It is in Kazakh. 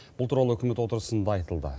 бұл туралы үкімет отырысында айтылды